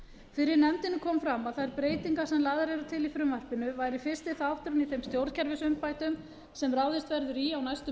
fyrir nefndinni kom fram að þær breytingar sem lagðar eru til í frumvarpinu væru fyrsti þátturinn í þeim stjórnkerfisumbótum sem ráðist verður í á næstu